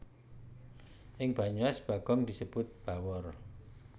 Ing Banyumas Bagong disebut Bawor